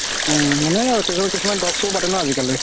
উম মানে আৰু কিছুমান talk show পাতে ন আজিকালি